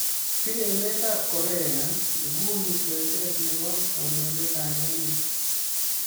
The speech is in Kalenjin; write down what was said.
Pire emet ap Korea Nguny kweeset nebo kandoindet ap emet.